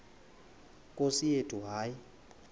nkosi yethu hayi